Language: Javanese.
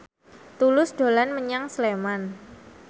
Tulus dolan menyang Sleman